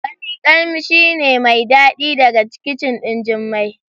Wani kamshi ne mai dadi daga kicin din Jummai.